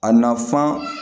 A nafan